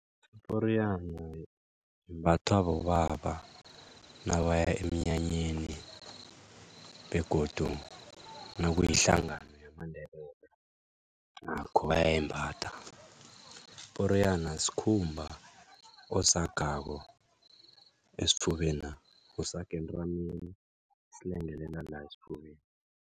Iporiyana imbathwa bobaba nabaya emnyanyeni begodu nakuyihlangano yamaNdebele nakho bayayembatha, iporiyana sikhumba osihagako esifubena usihaga entameni silengelele la esifubeni.